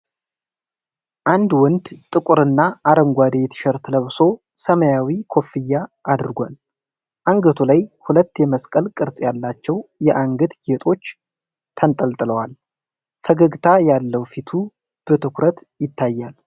አንድ ወንድ ጥቁርና አረንጓዴ ቲሸርት ለብሶ ሰማያዊ ኮፍያ አድርጓል። አንገቱ ላይ ሁለት የመስቀል ቅርጽ ያላቸው የአንገት ጌጦች ተንጠልጥለዋል። ፈገግታ ያለው ፊቱ በትኩረት ይታያል።